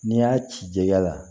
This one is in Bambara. N'i y'a cikɛ la